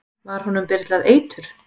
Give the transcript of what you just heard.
Var honum byrlað eitur?